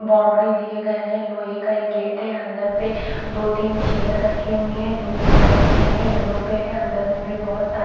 Boundary दिए गए हैं। लोहे का एक गेट हैं अंदर पे दो तीन चेयर रखे हुए है जो कि व्हाईट में है येलो पे है अंदर में भी बहोत सारे --